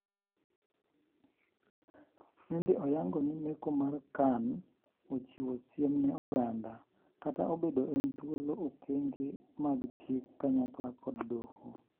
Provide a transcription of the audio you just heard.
Nende oyango ni meko mapiyo mar Khan ochiwo "siem ne oganda " kata obedo en thuolo okenge mag chik kanyakla kod doho.